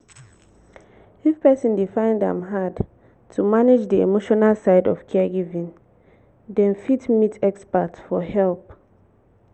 if person dey find am hard to manage di emotional side of caregiving dem fit meet expert for help